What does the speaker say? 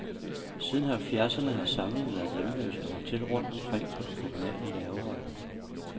Siden halvfjerdserne har samlingen været hjemløs og holdt til rundt omkring på de kommunale lagre.